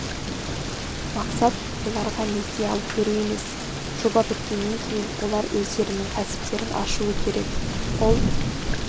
мақсат оларға несие алып беру емес жоба біткеннен кейін олар өздерінің кәсіптерін ашуы керек ол